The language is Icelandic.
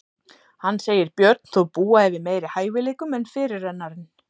Hann segir Björn þó búa yfir meiri hæfileikum en fyrirrennarinn.